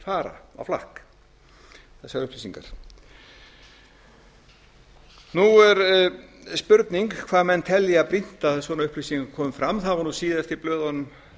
á flakk þessar upplýsingar nú er spurning hvað menn telja brýnt að svona upplýsingar komi fram það var síðast í blöðunum